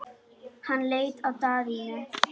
Hann leit á Daðínu.